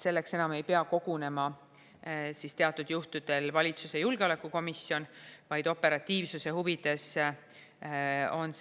Selleks enam ei pea kogunema teatud juhtudel valitsuse julgeolekukomisjon, vaid operatiivsuse huvides on